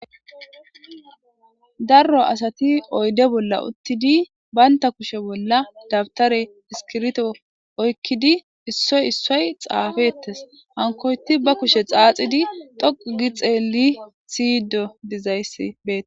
darro asati oyde bolla uttidi baynta kushe bolla dabtare iskirito oykkidi issoy issoy xaafettes hankoyti ba kushe xaaxidi dhoqugi xeelli siydo dizayssi beee